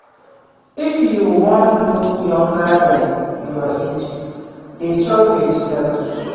If you wan look younger than your age dey chop vegetable